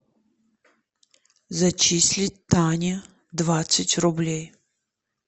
зачислить тане двадцать рублей